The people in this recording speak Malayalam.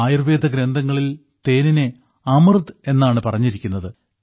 ആയുർവേദ ഗ്രന്ഥങ്ങളിൽ തേനിനെ അമൃത് എന്നാണ് പറഞ്ഞിരിക്കുന്നത്